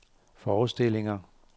forestillinger